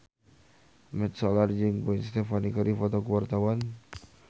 Mat Solar jeung Gwen Stefani keur dipoto ku wartawan